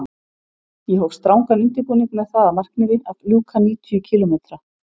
Ég hóf strangan undirbúning með það að markmiði að ljúka níutíu kílómetra